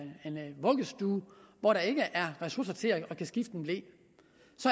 en vuggestue hvor der ikke er ressourcer til at skifte en ble